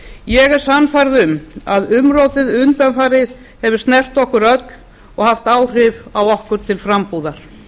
ég er sannfærð um að umrótið undanfarið hefur snert okkur öll og haft áhrif á okkur til frambúðar